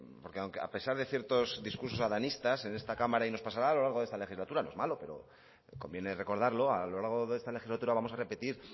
porque a pesar de ciertos discursos adanistas en esta cámara y nos pasará a lo largo de esta legislatura no es malo pero conviene recordarlo a lo largo de esta legislatura vamos a repetir